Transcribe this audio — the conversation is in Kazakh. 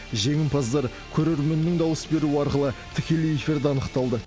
жеңімпаздар көрерменнің дауыс беруі арқылы тікелей эфирде анықталды